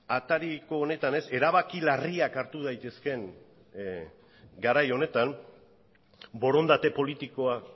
atariko honetan ez erabaki larriak hartu daitezkeen garai honetan borondate politikoa